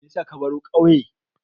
Me yasa ka baro ƙauye?